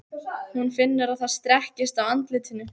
Hún finnur að það strekkist á andlitinu.